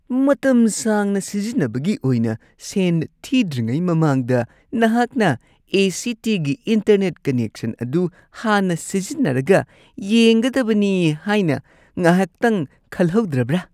ꯃꯇꯝ ꯁꯥꯡꯅ ꯁꯤꯖꯤꯟꯅꯕꯒꯤ ꯑꯣꯏꯅ ꯁꯦꯟ ꯊꯤꯗ꯭ꯔꯤꯉꯩ ꯃꯃꯥꯡꯗ ꯅꯍꯥꯛꯅ ꯑꯦ.ꯁꯤ.ꯇꯤ.ꯒꯤ ꯏꯟꯇꯔꯅꯦꯠ ꯀꯅꯦꯛꯁꯟ ꯑꯗꯨ ꯍꯥꯟꯅ ꯁꯤꯖꯤꯟꯅꯔꯒ ꯌꯦꯡꯒꯗꯕꯅꯤ ꯍꯥꯏꯅ ꯉꯥꯏꯍꯥꯛꯇꯪ ꯈꯜꯍꯧꯗ꯭ꯔꯕ꯭ꯔꯥ ?